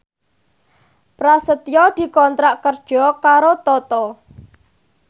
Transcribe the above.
Prasetyo dikontrak kerja karo Toto